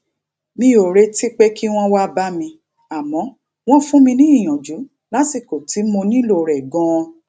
mi ò retí pé kí wón wá bá mi àmó wón fún mi ìyànjú lásìkò tí mo nílò rè ganan